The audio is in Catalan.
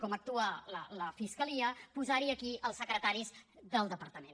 com actua la fiscalia posar hi aquí els secretaris del departament